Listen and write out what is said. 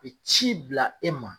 U be ci bila e ma